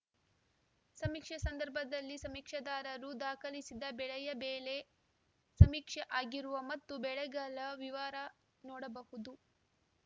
ಸಮೀಕ್ಷೆ ಸಂದರ್ಭದಲ್ಲಿ ಸಮೀಕ್ಷೆದಾರರು ದಾಖಲಿಸಿದ ಬೆಳೆಯ ಬೆಳೆ ಸಮೀಕ್ಷೆ ಆಗಿರುವ ಮತ್ತು ಬೆಳೆಗಲ ವಿವರ ನೋಡಬಹುದು